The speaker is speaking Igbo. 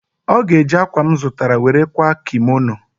Ọ ga-eji akwa a m zụtara were kwaa kimono.